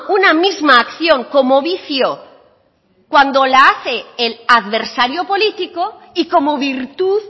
una misma acción como vicio cuando la hace el adversario político y como virtud